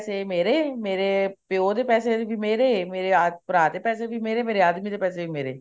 ਪੈਸੇ ਮੇਰੇ ਮੇਰੇ ਪਿਓ ਦੇ ਪੈਸੇ ਵੀ ਮੇਰੇ ਮੇਰੇ ਭਰਾ ਦੇ ਪੈਸੇ ਵੀ ਮੇਰੇ ਮੇਰੇ ਆਦਮੀ ਦੇ ਪੈਸੇ ਵੀ ਮੇਰੇ